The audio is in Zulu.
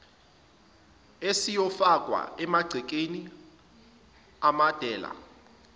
esiyofakwa emagcekeni amadela